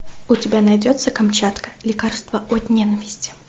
у тебя найдется камчатка лекарство от ненависти